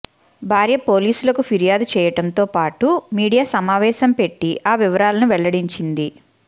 భార్య పోలీసులకు ఫిర్యాదు చేయడంతో పాటు మీడియా సమావేశం పెట్టి ఆ వివరాలను వెల్లడించింది